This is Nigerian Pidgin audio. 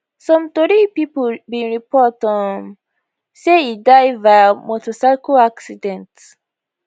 some tori pipo bin report um say e die via motorcycle accident